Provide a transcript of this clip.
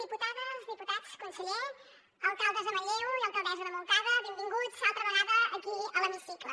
diputades diputats conseller alcaldes de manlleu i alcaldessa de montcada benvinguts altra vegada aquí a l’hemicicle